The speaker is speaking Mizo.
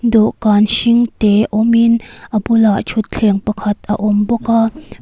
dawhkan hring te awm in a bulah thutthleng pakhat a awm bawk a.